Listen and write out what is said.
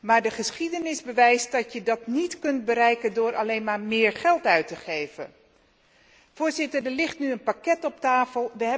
maar de geschiedenis bewijst dat je dat niet kunt bereiken door alleen maar meer geld uit te geven. Voorzitter, er ligt nu een pakket op tafel.